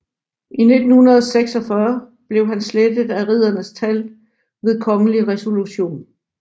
I 1946 blev han slettet af riddernes tal ved kongelig resolution